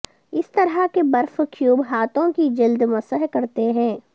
اس طرح کے برف کیوب ہاتھوں کی جلد مسح کرتے ہیں